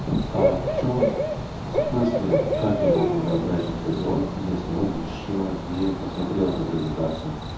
а в чём в смысле как я могу назначить созвон если он ещё не посмотрел эту презентацию